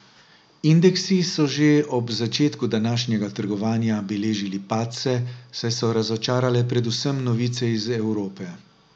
Indeksi so že ob začetku današnjega trgovanja beležili padce, saj so razočarale predvsem novice iz Evrope.